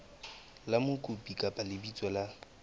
la mokopi kapa lebitso la